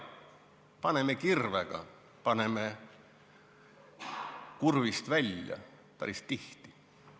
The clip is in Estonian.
Paneme kirvega, paneme kurvist välja ja päris tihti.